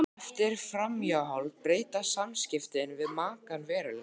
Eftir framhjáhald breytast samskiptin við makann verulega.